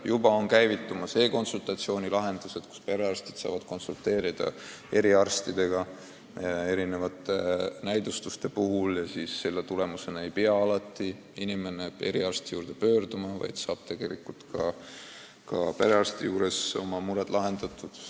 Juba on käivitumas e-konsultatsioonid, mille puhul perearstid saavad eriarstidega erinevate näidustuste puhul nõu pidada ja selle tulemusena ei pea inimene alati eriarsti juurde minema, vaid saab perearsti juures oma mured lahendatud.